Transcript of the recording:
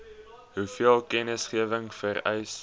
hoeveel kennisgewing vereis